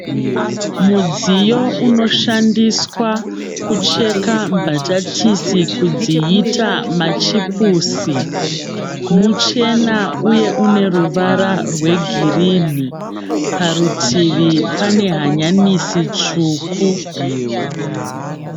Mudziyo unoshandiswa kucheka mbatatisi kudziita machipusi. Muchena uye uneruvara rwegirini. Parutivi pane hanyanisi tsvuku.